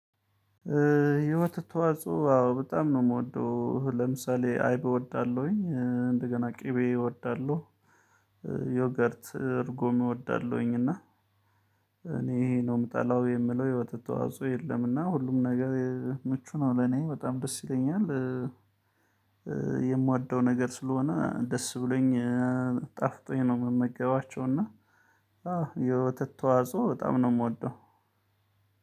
ኧ የወተት ተዋጽኦ አዎ በጣም ነው እምወደው እህ ለምሳሌ አይብ እወዳለሁኝ እ እንደገና ቅቤ እወዳለሁ። ዮገርት እርጉም እወዳለሁኝ እና እኔ ይሄ ነው የምጠላው የምለው የወተት ተዋጽኦ የለም እና ሁሉም ነገር እ ምቹ ነው ለኔ በጣም ደስ ይለኛል። የምዋደው ነገር ስለሆነ ደስ ብሎኝ ኧ ጣፍጦኝ ነው እምመገባቸው እና። የወተት ተዋጽኦ በጣም ነው እምወደው